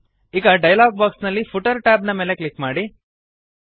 ಈಗ dialog box ನಲ್ಲಿ footer tab ನ ಮೇಲೆ ಕ್ಲಿಕ್ ಮಾಡಿ